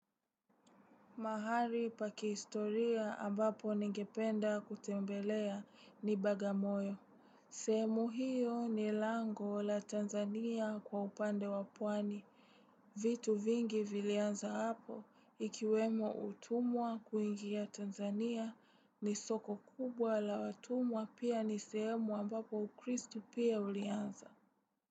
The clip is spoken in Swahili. Mahari paki historia ambapo ningependa kutembelea ni bagamoyo. Semu hiyo ni lango la Tanzania kwa upande wapwani. Vitu vingi vilianza hapo ikiwemo utumwa kuingia Tanzania ni soko kubwa la watumwa pia nisemwa ambapo ukristu pia ulianza.